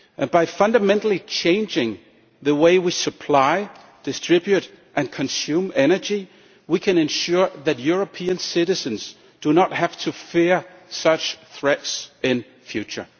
By fundamentally changing the way we supply, distribute and consume energy, we can ensure that European citizens do not have to fear such threats in the future.